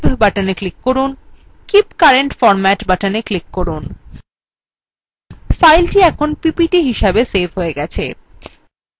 keep current format button click করুন file এখন ppt হিসাবে সেভ হয়ে গেছে